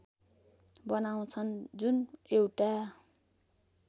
बनाउँछन् जुन एउटा